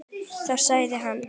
Þá segir hann